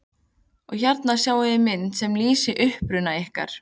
Og hérna sjáiði mynd sem lýsir uppruna ykkar.